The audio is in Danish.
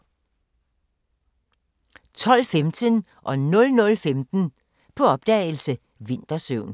12:15: På opdagelse – Vintersøvn 00:15: På opdagelse – Vintersøvn